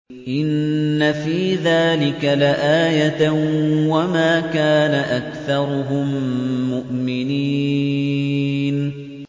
إِنَّ فِي ذَٰلِكَ لَآيَةً ۖ وَمَا كَانَ أَكْثَرُهُم مُّؤْمِنِينَ